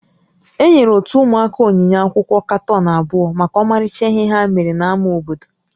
Enyere ótú ụmụaka onyinye akwụkwọ katọn abụọ maka ọmarịcha ihe ha mere n'ámá obodo